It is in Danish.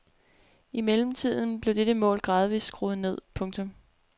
I mellemtiden blev dette mål gradvist skruet ned. punktum